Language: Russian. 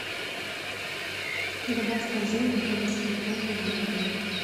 добавь в корзину механическую помпу для воды